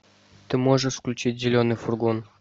ты можешь включить зеленый фургон